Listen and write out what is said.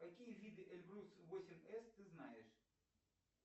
какие виды эльбрус восемь с ты знаешь